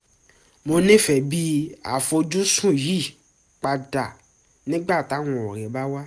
mo nífẹ̀ẹ́ bí àfojúsùn yí padà nígbà táwọn ọ̀rẹ́ bá wá